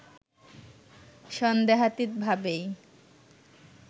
সন্দেহাতীত ভাবেই